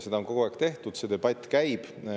Seda on kogu aeg tehtud, see debatt käib.